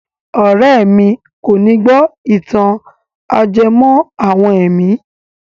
Ọ̀rẹ́ mi kòní gbó ìtàn ajẹmọ́ àwọn ẹ̀mí.